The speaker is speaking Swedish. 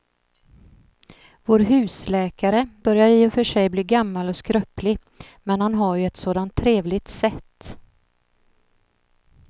Vår husläkare börjar i och för sig bli gammal och skröplig, men han har ju ett sådant trevligt sätt!